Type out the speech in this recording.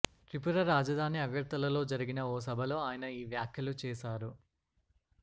త్రిపుర రాజధాని అగర్తలలో జరిగిన ఓ సభలో ఆయన ఈ వ్యాఖ్యలు చేశారు